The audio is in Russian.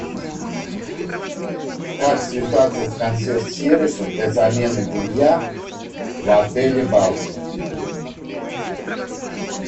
как связаться с консьерж сервисом для замены белья в отеле балчуг